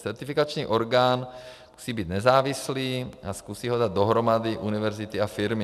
Certifikační orgán musí být nezávislý a zkusí ho dát dohromady univerzity a firmy.